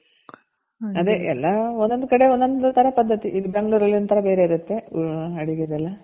ಅದೇ ಎಲ್ಲಾ ಒಂದೊಂದ್ ಕಡೆ ಒಂದೊಂದ್ ತರ ಪದ್ಧತಿ ಇದು ಬೆಂಗಳೂರ್ ಅಲ್ಲಿ ಒಂತರ ಬೇರೆ ಇರುತ್ತೆ ಅಡಿಗೆದೆಲ್ಲ